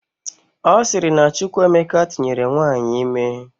Ọ sịrị na Chukwuemeka tụnyere nwaanyị ime